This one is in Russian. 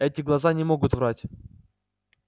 эти глаза не могут врать